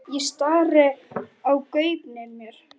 Ég stari í gaupnir mér.